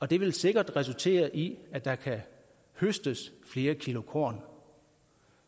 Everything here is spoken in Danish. det vil sikkert resultere i at der kan høstes flere kilo korn